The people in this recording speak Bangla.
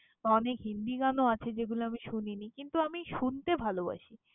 অনেক হিন্দি গানও আছে যেগুলো আমি শুনিনি কিন্তু, আমি শুনতে ভালবাসি।